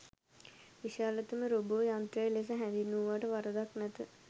විශාලතම රෝබෝ යන්ත්‍රය ලෙස හැඳින්වූවාට වරදක් නැත.